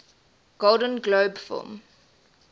golden globe film